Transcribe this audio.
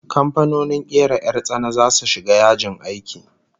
Kamfanonin kera 'yar tsana zasu shiga yajin aiki